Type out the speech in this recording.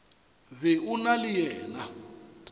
be o na le yena